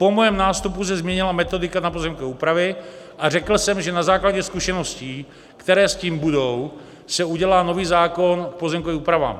Po mém nástupu se změnila metodika na pozemkové úpravy a řekl jsem, že na základě zkušeností, které s tím budou, se udělá nový zákon k pozemkovým úpravám.